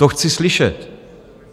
To chci slyšet.